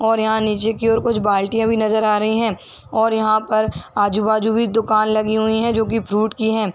और यहाँ नीचे की ओर कुछ बाल्टियां भी नजर आ रही है और यहाँ पर आजू बाजू भी दुकान लगी हुई है जो की फ्रूट की है।